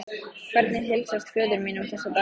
Hvernig heilsast föður mínum þessa dagana?